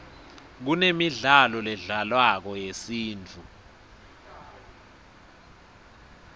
kunemidlalo ledlalwako yesintfu